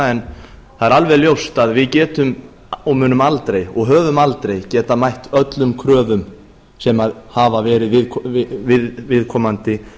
en það er alveg ljóst að við getum og munum aldrei og höfum aldrei getað mætt öllum kröfum sem hafa verið við viðkomandi